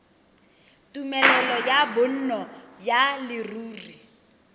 tumelelo ya bonno ya leruri